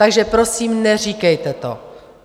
Takže prosím, neříkejte to!